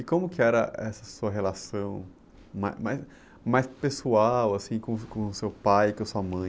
E como que era essa sua relação ma, mais, mais pessoal, assim, com, com seu pai e com a sua mãe?